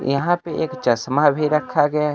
यहां पे एक चश्मा भी रखा गया है।